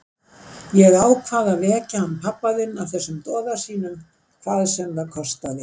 Ég ákvað að vekja hann pabba þinn af þessum doða sínum, hvað sem það kostaði.